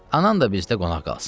Anan da bizdə qonaq qalsın.